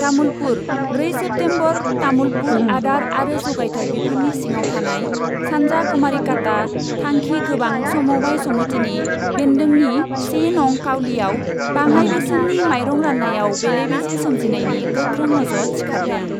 तामुलपुर, ब्रै सेप्टेम्बर तामुलपुर आदार आरो जगायथाय बिफाननि सिङाव थानाय सान्जा कुमारिकाता थांखि गोबां समबाय समिटिनि बेंन्दोंनि से नं काउलियाव बाङाइ बेसेननि माइरं रान्नायाव बेले बेजे सोमजिनायनि गोख्रों अजद सिखारदों।